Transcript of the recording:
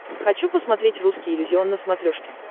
хочу посмотреть русский иллюзион на смотрешке